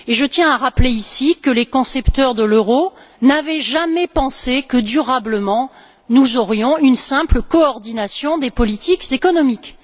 Je tiens à rappeler ici que les concepteurs de l'euro n'avaient jamais pensé que nous aurions, durablement, une simple coordination des politiques économiques.